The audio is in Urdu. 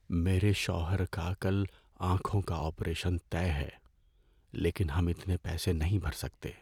میرے شوہر کا کل آنکھوں کا آپریشن طے ہے لیکن ہم اتنے پیسے نہیں بھر سکتے۔